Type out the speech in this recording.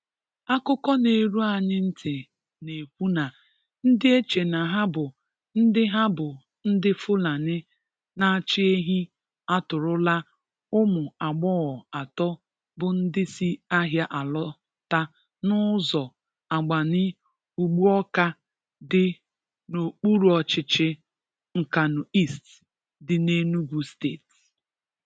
Àkụ́kọ̀ na-erù̀ anyị̀ ntị̀ na-ekwù na ndị̀ échè na hà bụ̀ ndị̀ hà bụ̀ ndị̀ Fùlàní na-achị̀ èhí̀ atọ́ọrọ̀là ụmụ̀ agbọ̀ghọ̀ atọ́ bụ̀ ndị̀ sì àhịà alọta n’ụ̀zọ̀ Àgbàní-Ùgbụàwka dị̀ n’Ọkpùrọ̀ọ̀chị̀chị̀ Nkànú̀ East dị̀ n’Ènùgù̀ Steeti.